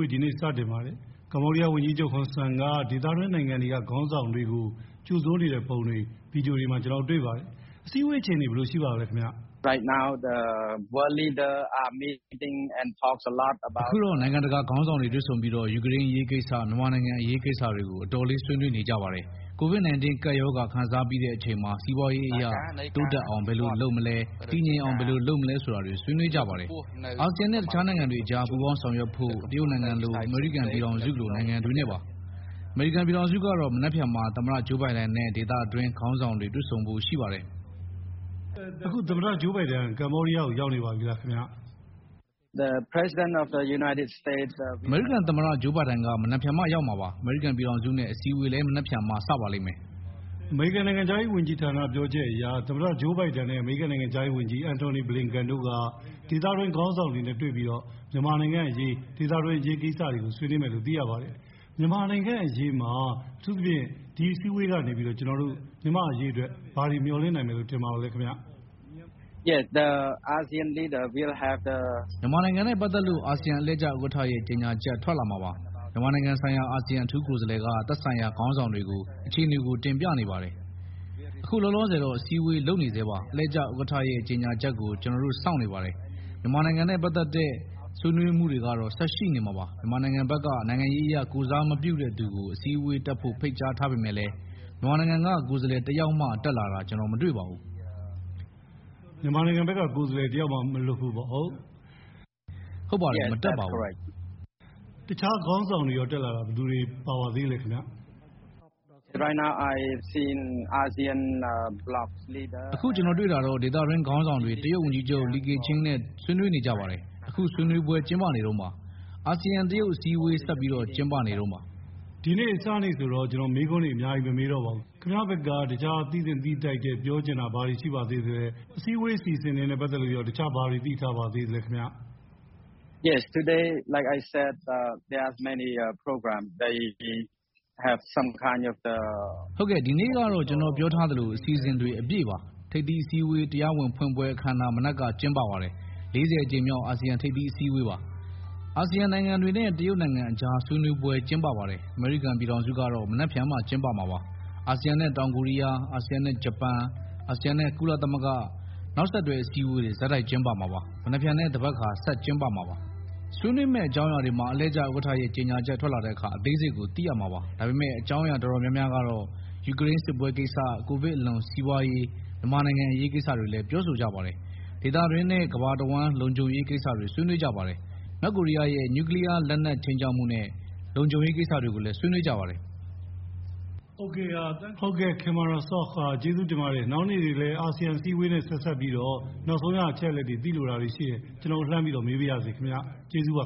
ေး ဒီနေ့ စတင်ပါတယ်။ ကမ္ဘောဒီးယား ဝန်ကြီးချုပ်ဟွန်ဆန်က ဒေသတွင်းနိုင်ငံတွေက ခေါင်းဆောင်တွေကို ကြိုဆိုနေတဲ့ပုံတွေ ဗွီဒီယိုတွေ ကျနော်တို့ တွေ့ပါတယ်။ အစည်းအ‌ဝေးအခြေအနေ ဘယ်လို ရှိပါသလဲခင်ဗျား။ အခုတော့ နိုင်ငံတကာ ခေါင်းဆောင်တွေ တွေ့ဆုံပြီးတော့ ယူကရိန်း အရေးကိစ္စ၊ မြန်မာနိုင်ငံအရေးကိစ္စတွေကို အတော်လေး ဆွေးနွေးနေကြပါတယ်။ ကိုဗစ် 19 ကပ်ရောဂါ ခံစားပြီးတဲ့အချိန်မှာ စီးပွားရေးအရ တိုးတက်အောင် ဘယ်လို လုပ်လုပ်မလဲ၊ တည်ငြိမ်အောင် ဘယ်လိုလုပ်မလဲဆိုတာတွေ ဆွေးနွေးကြပါတယ်။ အာဆီယံနဲ့ တခြားနိုင်ငံတွေအကြား ပူးပေါင်းဆောင်ရွက်ဖို့၊ တရုတ်နိုင်ငံလို အမေရိကန်ပြည်ထောင်စုလို နိုင်ငံတွေနဲ့ပါ။ အမေရိကန်ပြည်ထောင်စုကတော့ မနက်ဖြန်မှာ သမ္မတ ဂျိုးဘိုင်ဒန်နဲ့ ဒေသတွင်း ခေါင်းဆောင်တွေ တွေ့ဆုံဖို့ ရှိပါတယ်။ အခု သမ္မတ Joe Biden ကမ္ဘောဒီးယားကို ရောက်နေပါပြီလားခင်ဗျာ။ အမေရိကန် သမ္မတ Joe Biden က မနက်ဖြန်မှ ရောက်မှာပါ။ အမေရိကန်ပြည်ထောင်စုနဲ့ အစည်းအဝေးလည်း မနက်ဖြန်မှာ စပါလိမ့်မယ်။ အမေရိကန်နိုင်ငံခြားရေးဝန်ကြီးဌာနက ပြောကြားချက်အရ သမ္မတ Joe Biden နဲ့ အမေရိကန် နိုင်ငံခြားရေးဝန်ကြီး Antony Blinken တို့ဟာ ဒေသတွင်းခေါင်း‌ဆောင်တွေနဲ့ တွေ့ဆုံပြီး မြန်မာနိင်ငံ့အရေး၊ ဒေသတွင်းအရေးကိစ္စတွေကို ဆွေးနွေးမယ်လို့ သိရပါတယ်။ မြန်မာနိုင်ငံအရေး အထူးသဖြင့် မြန်မာ့အရေးမှာ ဘာတွေ မျှော်လင့်နိုင်မယ်လို့ ထင်ပါသလဲ။ မြန်မာနိုင်ငံနဲ့ပတ်သက်လို့ အာဆီယံ အလှည့်ကျဥက္ကဋ္ဌရဲ့ ကြေညာချက် ထွက်လာမှာပါ။ မြန်မာနိုင်ငံဆိုင်ရာ အာဆီယံအထူးကိုယ်စားလှယ်က သက်ဆိုင်ရာ ခေါင်းဆောင်တွေကို အခြေအနေကို တင်ပြနေပါတယ်။ အခုလောလောဆယ်တော့ အစည်းအဝေးလုပ်နေဆဲပါ။ အလှည့်ကျဥက္ကဋ္ဌရဲ့ ကြေညာချက်ကို ကျနော်တို့ စောင့်နေပါတယ်။ မြန်မာနိုင်ငံနဲ့ ပတ်သက်တဲ့ ဆွေးနွေးမှုတွေကတော့ ဆက်ရှိနေမှာပါ။ မြန်မာနိင်ငံဘက်က နိုင်ငံရေးအရ ကိုယ်စားမပြုတဲ့သူကို အစည်းအတေးတက်ဖို့ဖိတ်ကြားထားပေမဲ့လည်း မြန်မာနိင်ငံက ကိုယ်စားလှယ်တယောက်မှာ တက်လာတာ ကျနော် မတွေ့ပါဘူး။ မြန်မာဘက်က ကိုယ်စားလှယ် တယောက်မှ မလွတ်ဘူးပေါ့။ ဟုတ် ဟုတ်ပါတယ်။ မတက်ပါဘူး။ တခြားခေါင်းဆောင်တွေရော တက်လာတာ ဘယ်သူတွေ ပါပါသေးသလဲ။ အခု ကျနော်တွေ့တာတော့ ဒေသတွင်းခေါင်းဆောင်တွေ တရုတ် ဝန်ကြီးချုပ် Li Keqiang နဲ့ ဆွေးနွေးကြပါတယ်။ အခု ဆွေးနွေးပွဲကျင်းပနေတုန်းပါ။ အာဆီယံ တရုတ် အစည်းအဝေး ဆက်ပြီး ကျင်းပနေတုန်းပါ။ ဒီနေ့ အစနေ့ဆိုတော့ ကျနော် မေးခွန်းတွေ အများကြီးတော့ မမေးတော့ပါဘူး။ ခင်ဗျားဘက်က ပြောချင်တာ ဘာတွေ ရှိပါသေးသလဲ။ ထိပ်သီးညီလာခံ အစီအစဉ်တွေနဲ့ ပတ်သက်လို့ရော တခြား ဘာတွေ သိထားပါသလဲ။ ဟုတ်ကဲ့။ ဒီနေ့ကတော့ ကျနော်ပြောထားသလို အစီအစဉ်တွေ အပြည့်ပါ။ ထိပ်သီးအစည်းအဝေး တရားဝင် ဖွင့်ပွဲ အခမ်းအနား မနက်ပိုင်းက ကျင်းပပါတယ်။ အကြိမ် ၄၀ မြောက် အာဆီယံထိပ်သီးအစည်းအဝေးပါ။ အာဆီယံနိုင်ငံတွေနဲ့ တရုတ်နိုင်ငံအကြား ဆွေးနွေးပွဲကျင်းပပါတယ်။ အမေရိကန်ပြည်ထောင်စုကတော့ မနက်ဖြန်မှ ကျင်းပမှာပါ။ အာဆီယံနဲ့ တောင်ကိုရီးယား၊ အာဆီယံနဲ့ ဂျပန်။ အာဆီယံနဲ့ ကုလသမဂ္ဂ။ နောက် ဆက်တွဲ အစည်းအဝေးတွေ ဆက်တိုက်ကျင်းပမှာပါ။ မနက်ဖြန် နဲ့သဘက်ခါ ဆက်ကျင်းပမှာပါ။ ဆွေးနွေးမယ့်အကြောင်းအရာတွေမှာ အလှည့်ကျ ဥက္ကဋ္ဌရဲ့ကြေညာချက် ထွက်လာတဲ့အခါ အသေးစိတ်ကို သိရမှာပါ။ ဒါပေမဲ့ အကြောင်းအရာ တော်တော်များများကတော့ ယူကရိန်း စစ်ပွဲကိစ္စ၊ ကိုဗစ်အလွန် စီးပွားရေး၊ မြန်မာနိုင်ငံအရေးကိစ္စကိုလည်း ပြောဆိုကြပါတယ်။ ဒေသတွင်းနဲ့ ကမ္ဘာတဝှမ်း လုံခြုံရေးကိစ္စတွေ ဆွေးနွေးကြပါတယ်။ မြောက်ကိုရီးယားရဲ့ နျူကလီယားလက်နက် ခြိမ်းခြောက်မှုနဲ့ လုံခြုံရေးကိစ္စတွေကိုလည်း ဆွေးနွေးကြပါတယ်။ ဟုတ်ကဲ့ Khemara Sok ကျေးဇူးတင်ပါတယ်။ နောက်နေ့တွေမှာလည်း အာဆီယံ အစည်းအဝေးနဲ့ ဆက်စပ်ပြီး နောက်ဆုံးရ အချက်လက်တွေ သိလိုတာတွေရှိရင် ကျနော်တို့ လှမ်းမေးပါရစေ။ ကျေးဇူးပါ